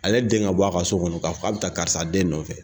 Ale den ka bɔ a ka so kɔnɔ k'a fɔ k'a bɛ karisa den nɔfɛ